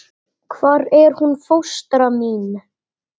Hvar er hún fóstra mín?